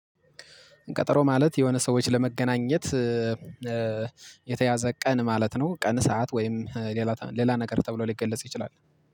ቀጠሮ ማለት የሆነ ሰዎች ለመገናኘት የተያዘ ቀን ማለት ነው። ቀን ሰዓት ወይም ሌላ ሌላ ነገር ተብሎ ሊገለጽ ይችላል